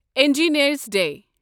engineers day